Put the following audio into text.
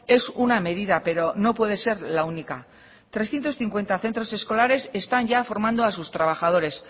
es una medida pero no puede ser la única trescientos cincuenta centros escolares están ya formando a sus trabajadores